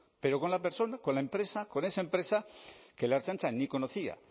pero con la persona con la empresa con esa empresa que la ertzaintza ni conocía